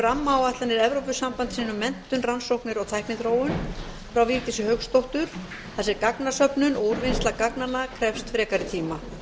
rammaáætlanir evrópusambandsins um menntun rannsóknir og tækniþróun frá vigdísi hauksdóttur þar sem gagnasöfnun og úrvinnsla gagnanna krefst frekari tíma